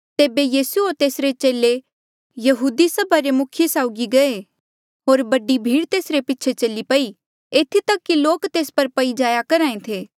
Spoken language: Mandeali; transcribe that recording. तेबे यीसू होर तेसरे चेले यहूदी सभा रे मुखिये साउगी गये होर बडी भीड़ तेसरे पीछे चली पई एथी तक कि लोक तेस पर पई जाया करहा ऐें थे